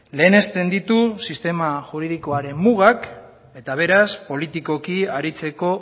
lehenesten ditu sistema juridikoaren mugak eta beraz politikoki aritzeko